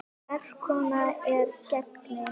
Merk kona er gengin.